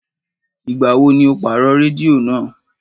Ìgbà wo ni o pa rédíò náà